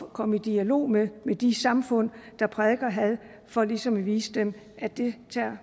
komme i dialog med de samfund der prædiker had for ligesom at vise dem at det tager